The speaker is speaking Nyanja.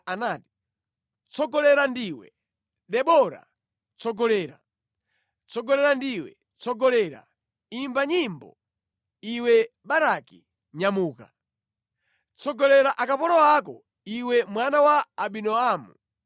Anati, ‘Tsogolera ndiwe, Debora, tsogolera; tsogolera ndiwe, tsogolera, imba nyimbo. Iwe Baraki! nyamuka Tsogolera akapolo ako, iwe mwana wa Abinoamu.’